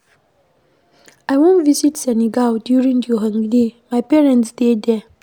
I wan visit Senegal during the holiday, my parents dey there